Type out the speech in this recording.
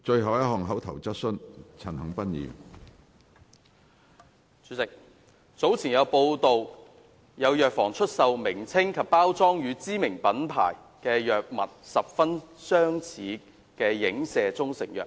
主席，早前有傳媒報道，有藥房出售名稱及包裝與知名品牌藥物十分相似的影射中成藥。